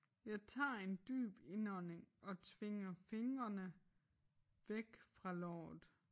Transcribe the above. Jeg tager en dyb indånding og tvinger fingrene væk fra låret